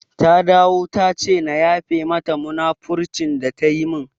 Ta dawo tace na yafe mata munafurcin da ta yi min